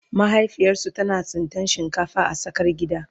mahaifiyarsu tana tsintan shinkafa a tsakar gida